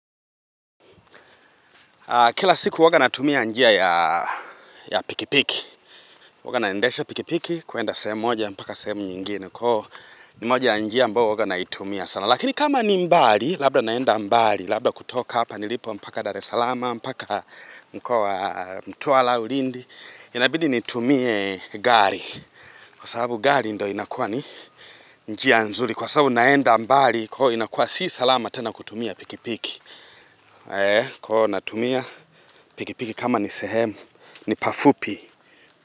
Kila siku uwaga natumia njia ya pikipiki waga naendesha pikipiki kuenda semu moja mpaka semu nyingine kwa ni moja njia ambo uwaga naitumia sana lakini kama ni mbali, labda naenda mbali labda kutoka hapa nilipo mpaka dare salama mpaka mkowa mtuwala au lindi inabidi nitumie gari kwa sababu gari ndo inakua ni njia nzuli kwa sababu naenda mbali kwa inakua si salama tena kutumia pikipiki Eee kono natumia Pikipiki kama ni sehemu ni pafupi.